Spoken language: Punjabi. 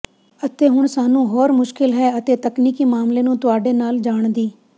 ਅਤੇ ਹੁਣ ਸਾਨੂੰ ਹੋਰ ਮੁਸ਼ਕਲ ਹੈ ਅਤੇ ਤਕਨੀਕੀ ਮਾਮਲੇ ਨੂੰ ਤੁਹਾਡੇ ਨਾਲ ਜਾਣ ਦੀ